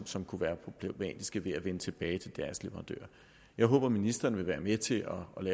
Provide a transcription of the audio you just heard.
som kunne være problematiske ved at vende tilbage til deres leverandører jeg håber at ministeren vil være med til